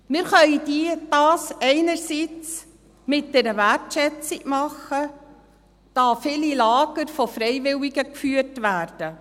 Wir können dies einerseits mit einer Wert schätzung tun, da viele Lager von Freiwilligen geführt werden.